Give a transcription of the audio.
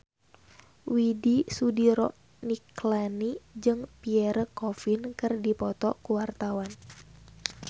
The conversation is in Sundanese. Widy Soediro Nichlany jeung Pierre Coffin keur dipoto ku wartawan